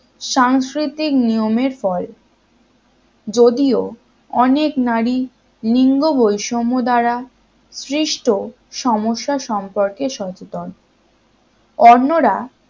সাংস্কৃতিক নিয়মের ফল যদিও অনেক নারী লিঙ্গ বৈষম্য দ্বারা সৃষ্ট সমস্যা সম্পর্কে সচেতন অন্যরা